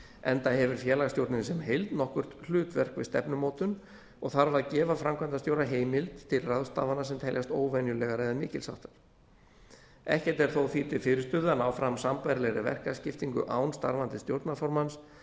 enda hefur félagsstjórnin sem heild nokkurt hlutverk við stefnumótun og þarf að gefa framkvæmdastjóra heimild til ráðstafana sem teljast óvenjulegar eða mikils háttar ekkert er þó því til fyrirstöðu að ná fram sambærilegri verkaskiptingu án starfandi stjórnarformanns